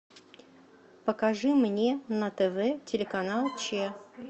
покажи мне на тв телеканал че